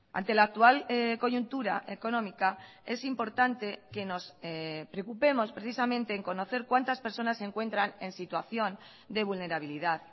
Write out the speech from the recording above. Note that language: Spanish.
ante la actual coyuntura económica es importante que nos preocupemos precisamente en conocer cuántas personas se encuentran en situación de vulnerabilidad